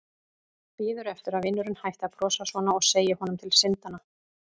Bíður eftir að vinurinn hætti að brosa svona og segi honum til syndanna.